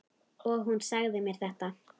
Og hún sagði mér þetta.